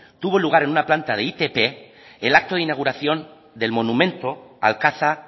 tuvo lugar en una planta de itp el acto de inauguración del monumento al caza